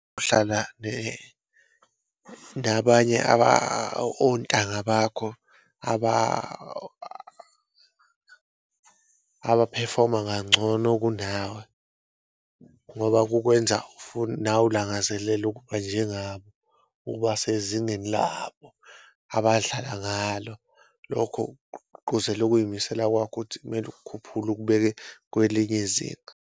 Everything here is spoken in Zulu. Uhlala nabanye ontanga bakho abaphefoma ngancono kunawe ngoba kukwenza nawe ulangazelele ukuba njengabo, ukuba sezingeni labo abadlala ngalo. Lokho gqugquzela ukuyimisela kwakho ukuthi kumele ukukhuphule ukubeke kwelinye izinga.